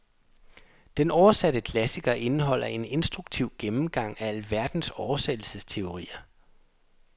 Den oversatte klassiker indeholder en instruktiv gennemgang af alverdens oversættelsesteorier.